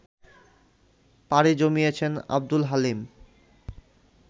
পাড়ি জমিয়েছেন আবদুল হালিম